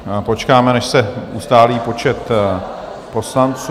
Počkáme, než se ustálí počet poslanců.